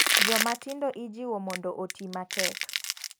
Joma tindo ijiwo mondo oti matek.